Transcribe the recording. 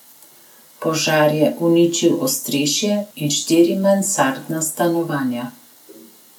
Požar je uničil ostrešje in štiri mansardna stanovanja.